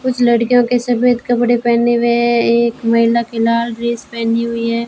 कुछ लड़कियों के सफेद कपड़े पहने हुए है एक महिला के लाल ड्रेस पहनी हुई है।